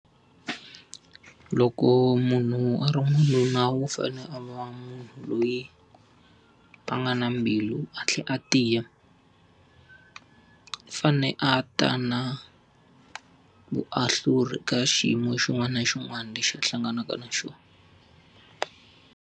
Loko munhu a ri n'wanuna u fanele a va munhu loyi a nga na mbilu a tlhela a tiya. U fanele a ta na vuahluri ka xiyimo xin'wana na xin'wana lexi a hlanganaka na xona.